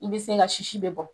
I be se ka sisi be bɔ.